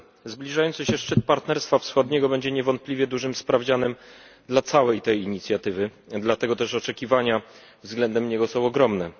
Zbliżający się szczyt Partnerstwa Wschodniego będzie niewątpliwie dużym sprawdzianem dla całej tej inicjatywy, dlatego też oczekiwania względem niego są ogromne.